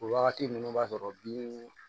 O wagati ninnu b'a sɔrɔ bin